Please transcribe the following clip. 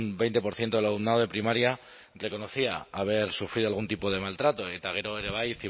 veinte por ciento del alumnado de primaria reconocía haber sufrido algún tipo de maltrato eta gero ere bai